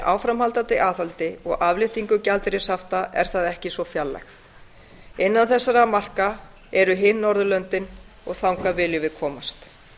áframhaldandi aðhaldi og afléttingu gjaldeyrishafta er það ekki svo fjarlægt innan þessara marka eru hin norðurlöndin og þangað viljum við komast